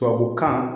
Tubabukan